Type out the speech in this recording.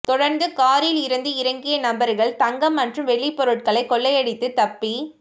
தொடர்ந்து காரில் இருந்து இறங்கிய நபர்கள் தங்கம் மற்றும் வெள்ளி பொருட்களை கொள்ளையடித்து தப்பி